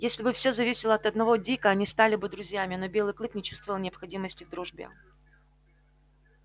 если бы все зависело от одного дика они стали бы друзьями но белый клык не чувствовал необходимости в дружбе